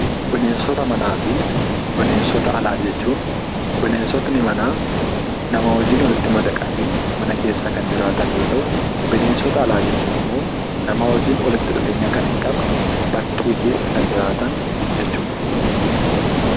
Bineensota manaa fi bineensota alaa jechuun, Bineensotni manaa namaa wajjin walitti madaqanii mana keessa kan jiraatan yoo ta'u; Bineensota alaa jechuun immoo, namaa wajjin walitti dhufeenya kan hin qabne, bakkee keessa kan jiraatan jechuu dha.